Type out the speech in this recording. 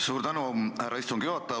Suur tänu, härra istungi juhataja!